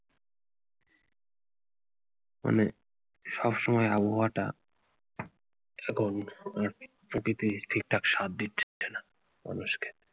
মানে সব সময় আবহাওয়াটা ঠিকঠাক সাধ দিচ্ছে না মানুষকে